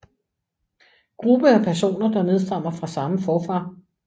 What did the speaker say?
Gruppe af personer der nedstammer fra samme forfader